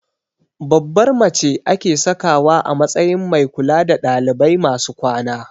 Babbar mace ake sakawa a matsayin mai kula da ɗalibai masu kwana